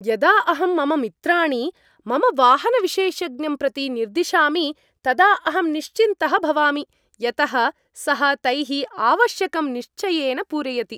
यदा अहं मम मित्राणि मम वाहनविशेषज्ञं प्रति निर्दिशामि तदा अहं निश्चिन्तः भवामि, यतः सः तैः आवश्यकं निश्चयेन पूरयति।